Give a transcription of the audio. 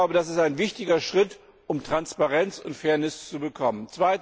Das ist ein wichtiger Schritt, um Transparenz und Fairness zu bekommen.